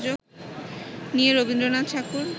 নিয়ে রবীন্দ্রনাথ ঠাকুর